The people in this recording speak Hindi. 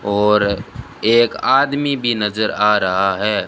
और एक आदमी भी नजर आ रहा हैं।